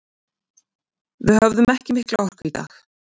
Við höfðum ekki mikla orku í dag.